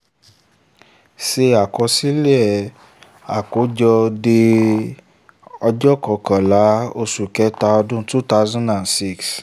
ṣe àkójọ àkọsílẹ̀ de ọjọ́ kọkànlélọ́gbọ̀n oṣù kẹ́ta ọdún two thousand six.